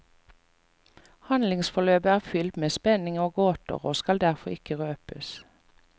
Handlingsforløpet er fylt med spenning og gåter, og skal derfor ikke røpes.